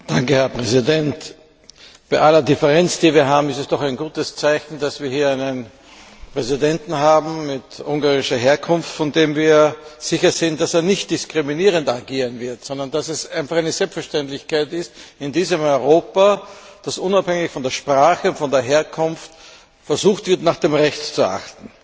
Herr Präsident! Bei aller Differenz, die wir haben, ist es doch ein gutes Zeichen, dass wir hier einen Präsidenten mit ungarischer Herkunft haben, von dem wir sicher sind, dass er nicht diskriminierend agieren wird, sondern dass es einfach eine Selbstverständlichkeit ist in diesem Europa, dass unabhängig von der Sprache und von der Herkunft versucht wird, auf das Recht zu achten.